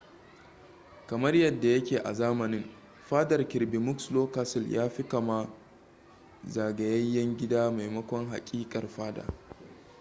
kamar yadda ya ke a zamanin fadar kirby muxloe castle yafi kama zagayayyen gida maimakon haƙiƙar fada